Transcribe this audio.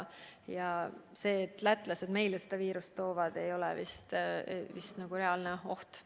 See, et lätlased meile seda viirust toovad, ei ole vist reaalne oht.